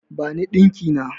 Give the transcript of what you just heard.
Bani ɗinki na!